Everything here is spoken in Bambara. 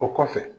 O kɔfɛ